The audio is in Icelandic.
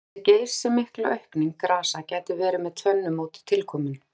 Þessi geysimikla aukning grasa gæti verið með tvennu móti tilkomin.